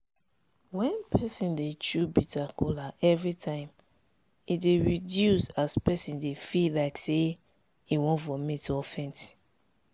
wen peson dey chew bitter kola every time e dey reduce as person dey feel like say e wan vomit or or faint.